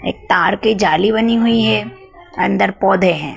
एक तार की जाली बनी हुई है अन्दर पौधे हैं।